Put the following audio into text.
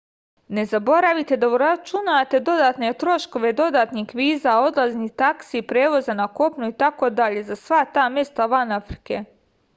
ne zaboravite da uračunate dodatne troškove dodatnih viza odlaznih taksi prevoza na kopnu itd za sva ta mesta van afrike